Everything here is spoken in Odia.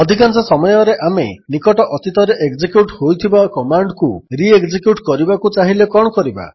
ଅଧିକାଂଶ ସମୟରେ ଆମେ ନିକଟ ଅତୀତରେ ଏକ୍ଜେକ୍ୟୁଟ୍ ହୋଇଥିବା କମାଣ୍ଡକୁ ରି ଏକ୍ଜେକ୍ୟୁଟ୍ କରିବାକୁ ଚାହିଁଲେ କଣ କରିବା